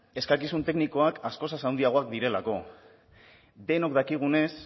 eskakizun teknikoak askoz handiagoak direlako denok dakigunez